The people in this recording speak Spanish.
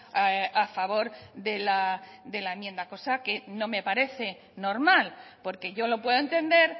a favor de la enmienda cosa que no me parece normal porque yo lo puedo entender